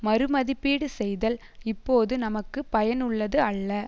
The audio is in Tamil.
மறுமதிப்பீடு செய்தல் இப்போது நமக்கு பயனுள்ளது அல்ல